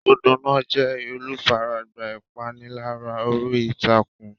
Ọ̀dọ́ náà jẹ́ olùfaragbá ìpániláyà orí ìtàkùn.